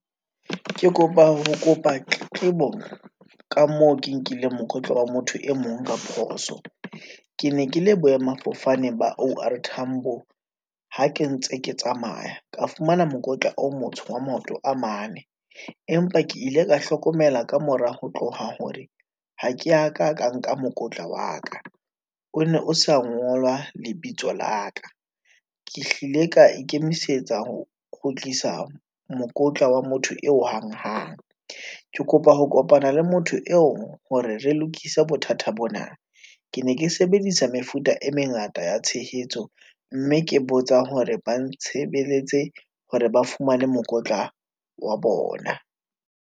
Ke kopa ho kopa tletlebo ka moo ke nkile mokotla wa motho e mong ka phoso, ke ne ke le boemafofane ba O_R tambo, ha ke ntse ke tsamaya, ka fumana mokotla o motsho wa maoto a mane, empa ke ile ka hlokomela ka mora ho tloha, hore ha ke ya ka, ka nka mokotla wa ka, o ne o sa ngolwa lebitso la ka. Ke hlile ka ikemisetsa ho kgutlisa mokotla wa motho eo hang hang, ke kopa ho kopana le motho eo, hore re lokise bothata bona. Ke ne ke sebedisa mefuta e mengata ya tshehetso, mme ke botsa hore ba ntshebeletse, hore ba fumane mokotla wa bona.